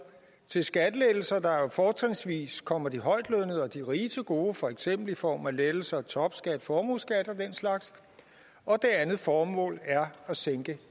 til skattelettelser der jo fortrinsvis kommer de højtlønnede og de rige til gode for eksempel i form af lettelser af topskat formueskat og den slags det andet formål er at sænke